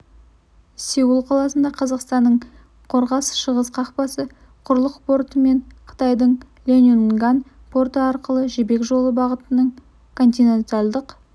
сеул қаласында қазақстанның қорғас-шығыс қақпасы құрлық порты мен қытайдың ляньюнган порты арқылы жібек жолы бағытының континентальдік